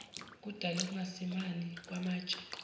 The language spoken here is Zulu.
kudale ukungasimami kwamatshe